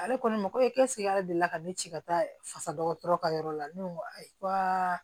Ale kɔni mako bɛ ale de la ka ne ci ka taa fasa dɔgɔtɔrɔ ka yɔrɔ la ne ko n ko ayiwa